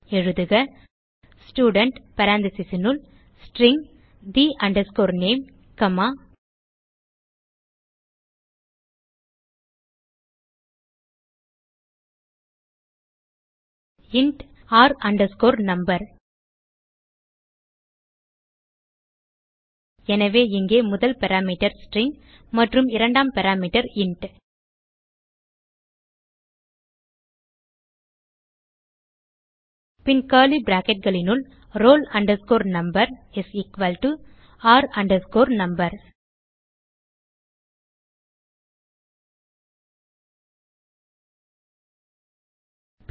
எழுதுக ஸ்டூடென்ட் parenthesesனுள் string the name comma int r no எனவே இங்கே முதல் பாராமீட்டர் ஸ்ட்ரிங் மற்றும் இரண்டாம் பாராமீட்டர் இன்ட் பின் கர்லி bracketகளினுள் roll number is equal to r no